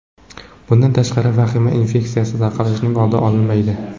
Bundan tashqari, vahima infeksiya tarqalishining oldini olmaydi.